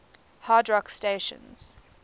hard rock stations